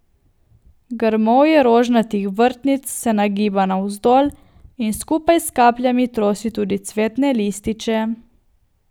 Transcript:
Grmovje rožnatih vrtnic se nagiba navzdol in skupaj s kapljami trosi tudi cvetne lističe.